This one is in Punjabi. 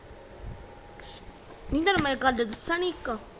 ਨੀ ਤੈਨੂੰ ਮੈਂ ਗਲ ਦਸਾ ਨੀ ਇਕ